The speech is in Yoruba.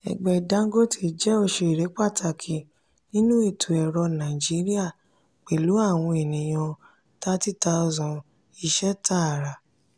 ẹgbẹ dangote jẹ oṣere pataki ninu eto-ọrọ naijiria pẹlu awọn eniyan 30000 iṣẹ taara.